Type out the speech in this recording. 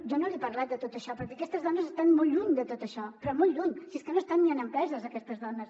jo no li he parlat de tot això perquè aquestes dones estan molt lluny de tot això però molt lluny si és que no estan ni en empreses aquestes dones